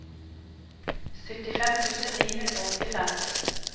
syttifem tusen ni hundre og åttifem